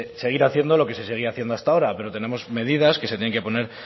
seguir haciendo lo que se seguía haciendo hasta ahora pero tenemos medidas que se tienen que poner